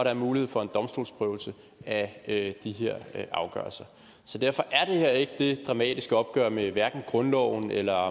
er mulighed for en domstolsprøvelse af de her afgørelser så derfor er det her ikke det dramatiske opgør med hverken grundloven eller